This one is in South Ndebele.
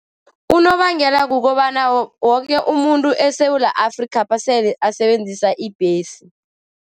Unobangela kukobana woke umuntu eSewula Afrikapha sele asebenzisa ibhesi.